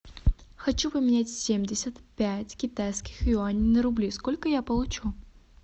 хочу поменять семьдесят пять китайских юаней на рубли сколько я получу